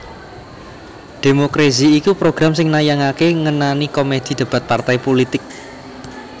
Democrazy iku program sing nayangaké ngenani komedi debat partai pulitik